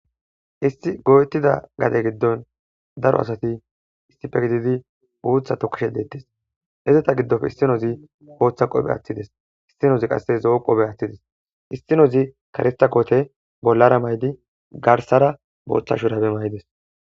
isti go7etida gade giddon daro asati istife gididi buutha tokkishe deettes hezeta giddofe issinozi booththa qoobe aththides issinozi qasse zo7o qobe aththides issinozi karista qoote bollara maydi garsara booththa shurabe may7ides